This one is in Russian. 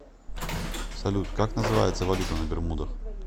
салют как называется валюта на бермудах